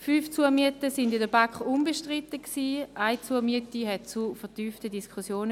Fünf Zumieten waren in der BaK unbestritten, eine Zumiete führte zu vertieften Diskussionen.